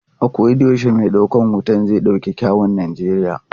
A koda yaushe mai daukar hoton zai dauki kyawun Najeriya.